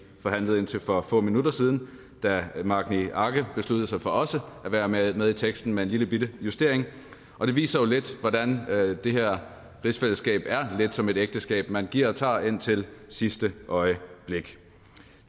forhandlede indtil for få minutter siden da herre magni arge besluttede sig for også at være med med i teksten med en lillebitte justering og det viser jo lidt hvordan det her rigsfællesskab er lidt som et ægteskab man giver og tager indtil sidste øjeblik